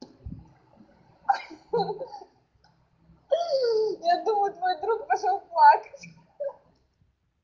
хи-хи я думаю твой друг пошёл плакать